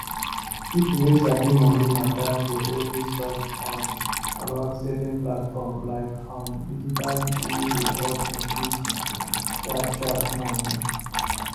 people wey sabi money matter dey always talk um about saving platform like um digit wey dey help increase sharpsharp money